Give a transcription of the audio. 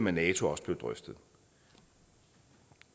af nato også blev drøftet